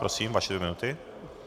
Prosím, vaše dvě minuty.